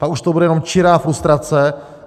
A už to bude jenom čirá frustrace.